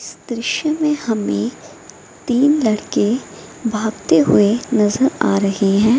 इस दृश्य में हमें तीन लड़के भागते हुए नजर आ रहे हैं।